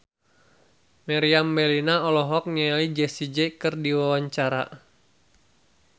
Meriam Bellina olohok ningali Jessie J keur diwawancara